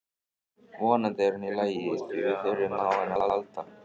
Vonandi er hún í lagi því við þurfum á henni að halda.